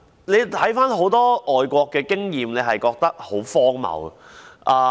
我看了很多外國的經驗，覺得很荒謬。